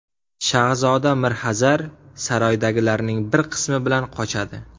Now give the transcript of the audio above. Shahzoda Mirxazar saroydagilarning bir qismi bilan qochadi.